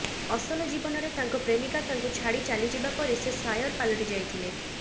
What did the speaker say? ଅସଲ ଜୀବନରେ ତାଙ୍କ ପ୍ରେମିକା ତାଙ୍କୁ ଛାଡ଼ି ଚାଲି ଯିବା ପରେ ସେ ସାୟର ପାଲଟି ଯାଇଥିଲେ